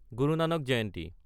গুৰু Nanak জয়ন্তী